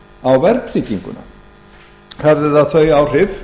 á verðtrygginguna hafði það þau áhrif